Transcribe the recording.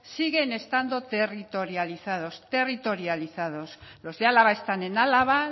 siguen estando territorializados territorializados los de álava están en álava